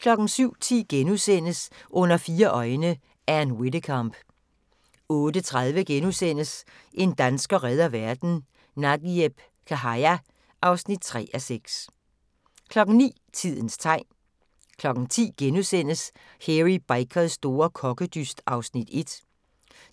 07:10: Under fire øjne - Ann Widdecombe * 08:30: En dansker redder verden - Nagieb Khaja (3:6)* 09:00: Tidens tegn 10:00: Hairy Bikers store kokkedyst (Afs. 1)*